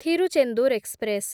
Tiruchendur express